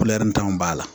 b'a la